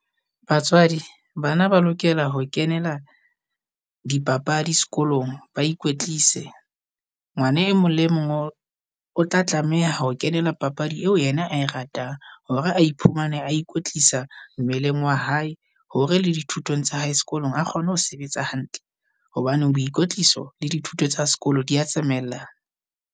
Batswadi bana ba lokela ho kenela dipapadi sekolong, ba ikwetlise. Ngwana e mong le mong o tla tlameha ho kenela papadi eo yena ae ratang, hore a iphumane a ikwetlisa mmeleng wa hae hore le dithutong tsa hae sekolong a kgone ho sebetsa hantle. Hobaneng boikwtliso le dithuto tsa sekolo dia tsamaella.